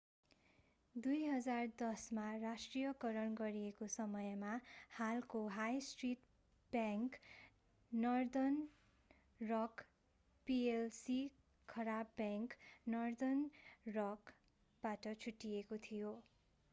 2010 मा राष्ट्रियकरण गरिएको समयमा हालको high street bank Northern Rock PLC 'खराब बैंक' नर्दर्न रक सम्पत्ति व्यवस्थापन बाट छुट्टिएको थियो।